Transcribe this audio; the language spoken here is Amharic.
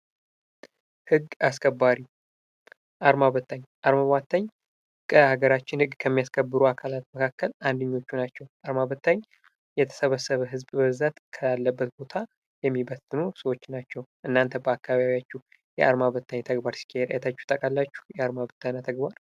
ህግ አስከባሪ አርማ በታኝ አርማ በታኝ ከሀገራችን ህግ ከሚያስከብሩ አካላት መካከል አንድኞቹ ናቸው። አርማ በታኝ የተሰበሰበ ህዝብ በብዛት ካለበት ቦታ የሚበትኑ ሰዎች ናቸው። እናንተ በአካባቢያችሁ የአድማ በታኝ ሲካሄድ አይታችሁ ታውቃላችሁ የአርማ በታኝ ተግባር?